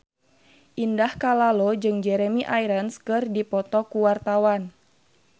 Indah Kalalo jeung Jeremy Irons keur dipoto ku wartawan